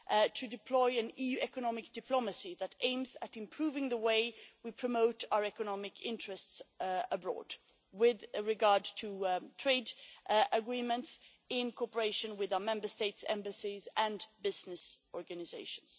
to deploy EU economic diplomacy that aims at improving the way we promote our economic interests abroad with regard to trade agreements, in cooperation with our Member States' embassies and business organisations.